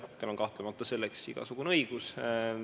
Tal on kahtlemata selleks igasugune õigus.